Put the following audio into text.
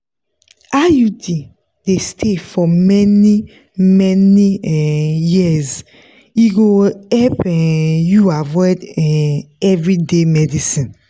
iud dey stay for many-many um years e go help um you avoid um everyday medicines.